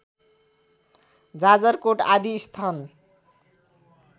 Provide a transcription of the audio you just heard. जाजरकोट आदि स्थान